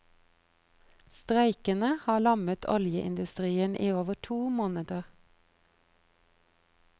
Streikene har lammet oljeindustien i over to måneder.